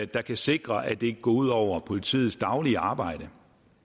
der kan sikre at det ikke går ud over politiets daglige arbejde